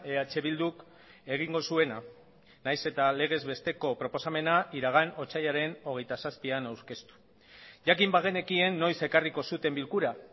eh bilduk egingo zuena nahiz eta legez besteko proposamena iragan otsailaren hogeita zazpian aurkeztu jakin bagenekien noiz ekarriko zuten bilkura